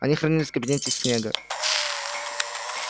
они хранились в кабинете снегга